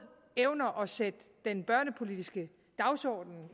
evner at sætte den børnepolitiske dagsorden